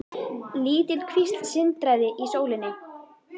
Lítil kvísl sindraði í sólinni.